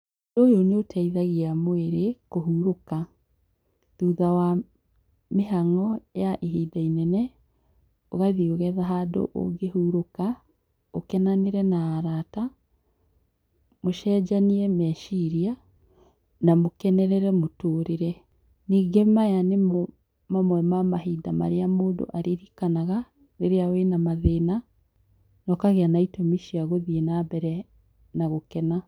ũyũ nĩũteithagia mwĩrĩ kũhurũka, thutha wa mĩhang'o ya ihinda inene , ũgathiĩ ũgetha handũ ũngĩ hurũka ũkenenanĩre na arata ,mũcenjeanie meciria na mũkenerere mũtũrĩre. Nyingĩ maya nĩmo mamwe ma hinda marĩa mũndũ aririrkanaga rĩrĩa wĩna mathĩna na ũkagĩa na itũmi cia gũthiĩ na mbere na gũkena.